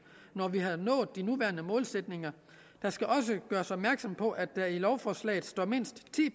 når vi har nået de nuværende målsætninger der skal også gøres opmærksom på at der i lovforslaget står mindst ti